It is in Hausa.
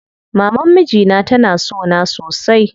Maman mijina tana sona sosai.